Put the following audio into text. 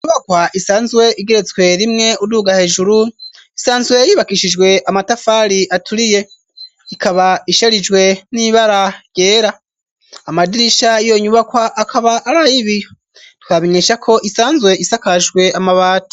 Inyubakwa isanzwe igeretswe rimwe uduga hejuru isanzwe yibakishijwe amatafari aturiye, ikaba isherijwe n'ibara ryera, amadirisha yiyo nyubakwa akaba arayibiyo twabamenyeshako isanzwe isakajwe amabati.